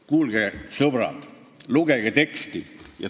Kuulge, sõbrad, lugege teksti!